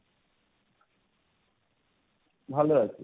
ভালো আছি।